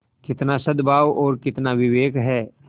कितना सदभाव और कितना विवेक है